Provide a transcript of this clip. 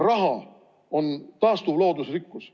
Raha on taastuv loodusrikkus.